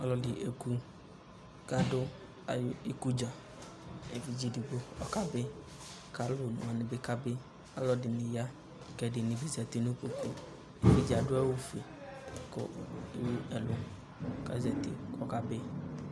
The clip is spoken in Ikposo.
Ɔlɔdi ekʋ kʋ adʋ ayi ikudza Evidze ɛdigbo ɔkabi, kʋ alʋ one wani bi kabi Alʋ ɛdini ya kʋ ɛdini bi zati nʋ ikpoku Evidze adʋ awʋ fue kʋ ewu ɛlʋ kʋ ɔzati kʋ ɔkabi